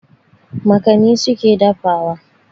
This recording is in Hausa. Makani su ke dafawa.